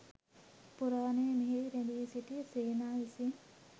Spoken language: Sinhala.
පුරාණයේ මෙහි රැඳී සිටි සේනා විසින්